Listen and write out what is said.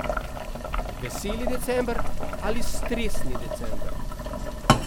Veseli december ali stresni december?